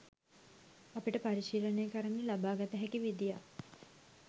අපට පරිශීලනය කරන්න ලබාගත හැකි විදියක්